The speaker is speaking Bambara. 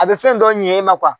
A bɛ fɛn dɔ ɲɛ e ma